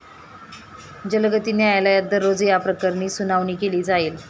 जलगती न्यायालयात दररोज याप्रकरणी सुनावणी केली जाईल.